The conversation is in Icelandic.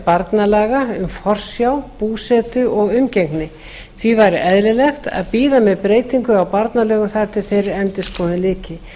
barnalaga um forsjá búsetu og umgengni því væri eðlilegt að bíða með breytingu á barnalögum þar til þeirri endurskoðun lyki